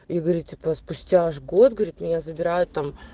и говорит типа спустя аж год говорит меня забирают там